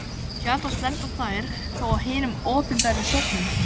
Sjaldnast lenda þær þó á hinum opinberu söfnum.